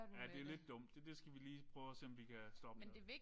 Ja det lidt dumt. Det skal vi lige prøve at se om vi kan stoppe med